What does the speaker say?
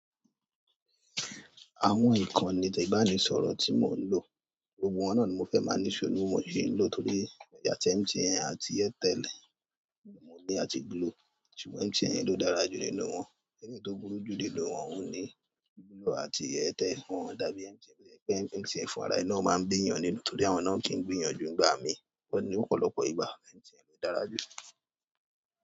Àwọn ìkonì ìbánisọ̀rọ̀ tí mò ń lò, gbogbo wọn náà ni mo fẹ́ máa ní issue. Mo sì ń lò torí àti MTN àti Airtel, ni mo ni àti glo. Ṣùgbọ́n MTN yẹn ló dára jù nínú wọn. Ẹleyi tó burú jù nínú wọn, òun ní. GLO àti AIRTEL. Wọn ò dàbí MTN. MTN fúnra rẹ̀ náà máa ń bí èèyàn nínú, torí àwọn náà ò kì í gbìyànjú ngba mi i. Ó ní ọ̀pọ̀lọpọ̀ ìgbà, MTN ló dára jù.